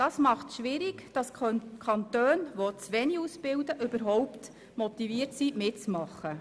Deshalb ist es schwierig, Kantone, die zu wenig ausbilden überhaupt zu motivieren, mitzumachen.